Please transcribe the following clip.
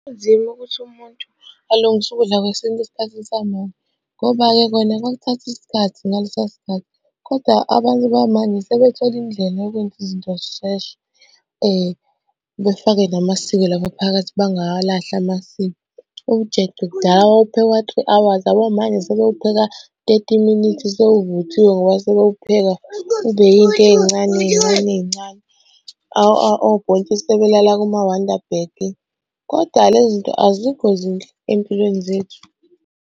Kunzima ukuthi umuntu alungise ukudla kwesintu esikhathini samanje, ngoba-ke kona kwakuthatha isikhathi ngalesiya sikhathi, koda abantu bamanje sebethole indlela yokwenza izinto zisheshe. Befake namasiko lapha phakathi bangawalahli amasiko. Ujeqe kudala wawuphekwa three hours, yabo manje sebewupheka thirty minutes sewuvuthiwe ngoba sebewupheka ube yinto ey'ncane ey'ncane ey'ncane. Obhontshisi sebelala kuma-wonder bag, koda le zinto azikho zinhle ey'mpilweni zethu.